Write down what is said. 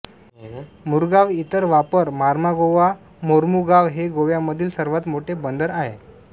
मुरगाव इतर वापर मार्मागोवा मोर्मुगाव हे गोव्यामधील सर्वात मोठे बंदर आहे